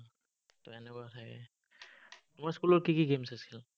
এনেকুৱা তোমাৰ school ৰ কি কি games আছিল?